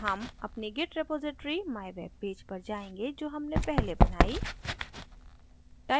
हम अपनी git repository mywebpage पर जायेंगे जो हमने पहले बनाई